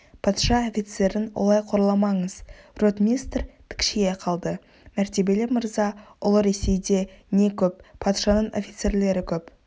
патша офицерін олай қорламаңыз ротмистр тікшие қалды мәртебелі мырза ұлы ресейде не көп патшаның офицерлері көп